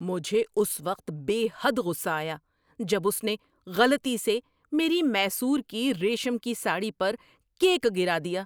مجھے اس وقت بے حد غصہ آیا جب اس نے غلطی سے میری میسور کی ریشم کی ساڑی پر کیک گرا دیا۔